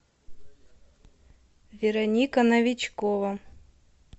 вероника новичкова